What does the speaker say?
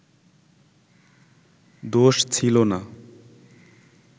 দোষ ছিলো না